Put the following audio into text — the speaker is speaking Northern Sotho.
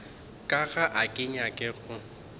ka ga ke nyake go